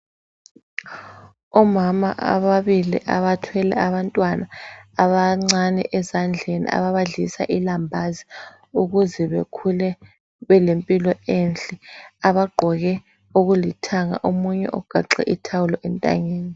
Omama ababili abathwele abantwana abancane ezandleni ababadlisa ilambazi ukuze bekhule belempilo enhle abagqoke okulithanga. Omunye ugaxe ithawulo entanyeni.